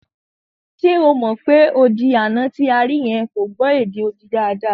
Ṣe o mọ̀ pé odi àná tí a rí yẹn kò gbọ́ èdè odi dáadáa?